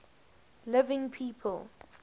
living people